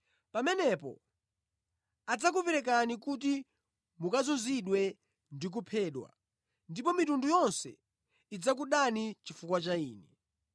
“Pamenepo adzakuperekani kuti mukazunzidwe ndi kuphedwa, ndipo mitundu yonse idzakudani chifukwa cha Ine.